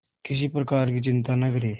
किसी प्रकार की चिंता न करें